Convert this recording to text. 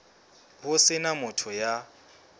ho se na motho ya